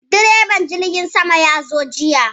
Direban jirgin sama ya zo jiya.